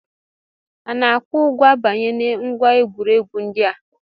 Ana-akwụ ụgwọ abanye na ngwa egwuregwu ndị a?